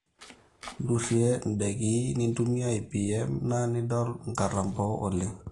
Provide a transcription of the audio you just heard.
durie ndaiki, ntumia IPM na nidol nkatampo oleng